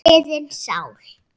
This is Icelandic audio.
liðin sál.